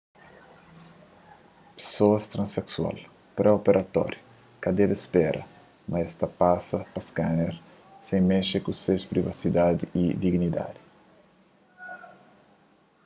pesoas transeksual pré-operatóriu ka debe spera ma es ta pasa pa skaner sem mexe ku ses privasidadi y dignidadi